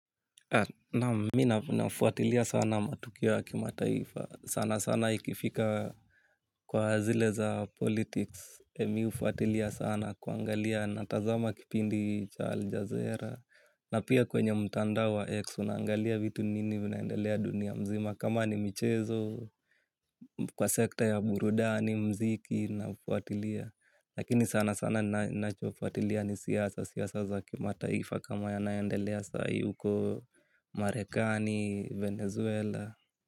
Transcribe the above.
Naam mina fuatilia sana matukio ya kima taifa. Sana sana ikifika kwa zile za politics. Mi ufuatilia sana kuangalia. Natazama kipindi cha aljazeera na pia kwenye mtandao wa X unangalia vitu nini vinaendelea dunia mzima. Kama ni michezo kwa sekta ya Burudani, Mziki na fuatilia. Lakini sana sana nacho fuatilia ni siasa, siasa za kima taifa kama ya naendelea sai uko Marekani, Venezuela.